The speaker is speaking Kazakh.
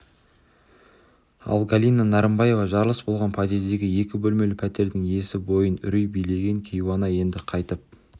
ал галина нарымбаева жарылыс болған подъездегі екі бөлмелі пәтердің иесі бойын үрей билеген кейуана енді қайтып